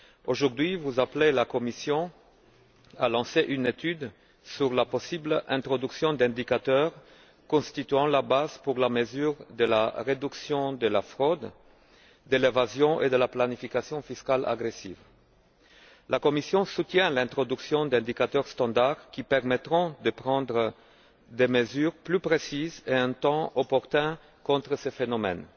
Aujourd'hui, vous appelez la Commission à lancer une étude sur la possible introduction d'indicateurs constituant une base pour les mesures de la réduction de la fraude et de l'évasion fiscales et de la planification fiscale agressive. La Commission soutient l'introduction d'indicateurs standard qui permettront de prendre des mesures plus précises et en temps opportun contre ce phénomène.